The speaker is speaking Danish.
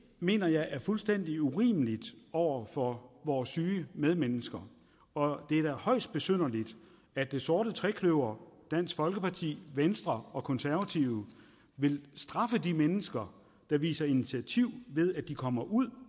mener jeg er fuldstændig urimeligt over for vores syge medmennesker og det er da højst besynderligt at det sorte trekløver dansk folkeparti venstre og konservative vil straffe de mennesker der viser initiativ ved at komme ud